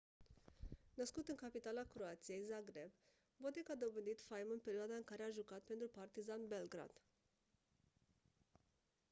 născut în capitala croației zagreb bodek a dobândit faimă în perioada în care a jucat pentru partizan belgrad